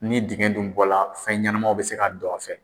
Ni dingɛn dun bɔra fɛnɲɛnamaw bɛ se ka don a fɛ.